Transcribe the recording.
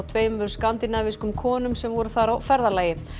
tveimur skandinavískum konum sem voru þar á ferðalagi